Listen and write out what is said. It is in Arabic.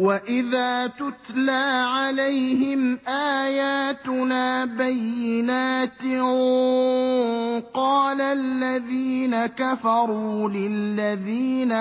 وَإِذَا تُتْلَىٰ عَلَيْهِمْ آيَاتُنَا بَيِّنَاتٍ قَالَ الَّذِينَ كَفَرُوا لِلَّذِينَ